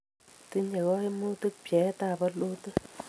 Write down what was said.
tinyei kaimutik pcheetab bolutik